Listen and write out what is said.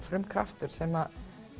frumkraftur sem